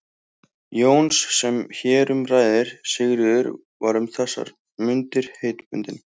Jóns sem hér um ræðir, Sigríður, var um þessar mundir heitbundin